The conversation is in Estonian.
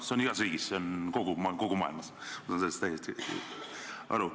See on igas riigis nii, see on kogu maailmas nii, ma saan sellest täiesti aru.